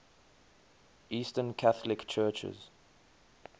eastern catholic churches